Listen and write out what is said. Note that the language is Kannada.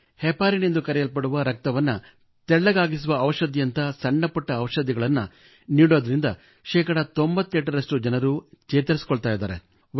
ಹೆಪಾರಿನ್ ಎಂದು ಕರೆಯಲ್ಪಡುವ ರಕ್ತವನ್ನು ತೆಳುವಾಗಿಸುವ ಔಷಧಿಯಂಥ ಸಣ್ಣ ಪುಟ್ಟ ಔಷಧಿಗಳನ್ನು ನೀಡುವುದರಿಂದ ಶೇ 98 ರಷ್ಟು ಜನರು ಚೇತರಿಸಿಕೊಳ್ಳುತ್ತಾರೆ